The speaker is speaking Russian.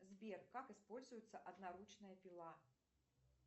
сбер как используется одноручная пила